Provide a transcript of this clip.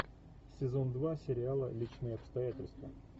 сезон два сериала личные обстоятельства